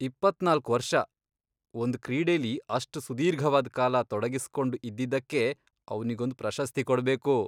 ಇಪ್ಪತ್ನಾಲ್ಕ್ ವರ್ಷ.. ಒಂದ್ ಕ್ರೀಡೆಲಿ ಅಷ್ಟ್ ಸುದೀರ್ಘವಾದ್ ಕಾಲ ತೊಡಗಿಸ್ಕೊಂಡ್ ಇದ್ದಿದ್ದಕ್ಕೇ ಅವ್ನಿಗೊಂದ್ ಪ್ರಶಸ್ತಿ ಕೊಡ್ಬೇಕು.